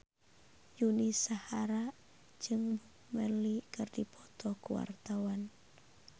Yuni Shara jeung Bob Marley keur dipoto ku wartawan